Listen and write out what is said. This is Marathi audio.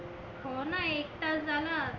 हो ना एक तास झाला आता.